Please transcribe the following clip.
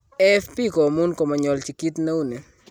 AFP konyun komonyolchin kit neuni.